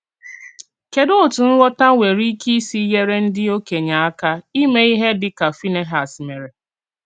Kédù òtù nghọ̀tà nwerè íké sì nyèrè ndí òkènye àkà ímè íhè díkà Fínèhàs mèrè?